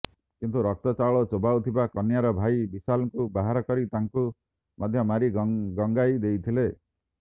କିନ୍ତୁ ରକ୍ତ ଚାଉଳ ଚୋବାଉଥିବା କନ୍ୟାର ଭାଇ ବିଶାଲଙ୍କୁ ବାହାର କରି ତାଙ୍କୁ ମଧ୍ୟ ମାରି ଗଙ୍ଗାଇ ଦେଇଥିଲେ